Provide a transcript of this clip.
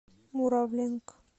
муравленко